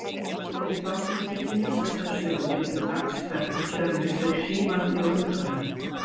Fyrir þá sem vilja kynnast þessari sögu getur dagsferð um Tjörnes verið hrífandi og undraverð.